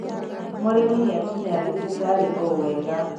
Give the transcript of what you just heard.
Mũrimi nĩakinya thibitarĩo wega.